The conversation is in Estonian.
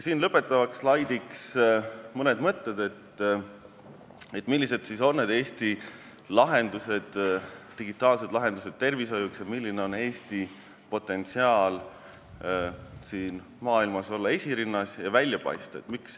Siin lõpetaval slaidil on mul mõned mõtted, millised on Eesti digitaalsed lahendused tervishoiuks ning milline on Eesti potentsiaal siin maailmas olla esirinnas ja välja paista.